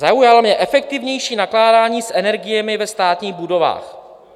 Zaujalo mě "efektivnější nakládání s energiemi ve státních budovách".